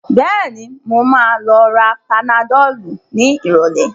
Bẹ́ẹ̀ni, mo ma lọ ra panadol ní ìrọ̀lẹ́